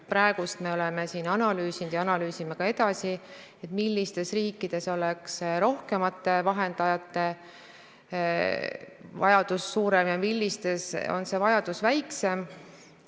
Praegu oleme siin analüüsinud ja analüüsime ka edasi, millistes riikides oleks rohkemate vahendajate vajadus suurem ja millistes oleks see vajadus väiksem.